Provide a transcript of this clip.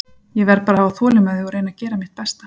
Ég verð bara að hafa þolinmæði og reyna að gera mitt besta.